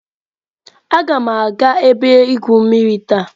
Agam aga ebe igwu mmiri taa.